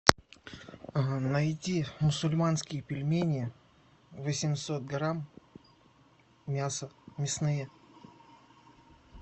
найди мусульманские пельмени восемьсот грамм мясо мясные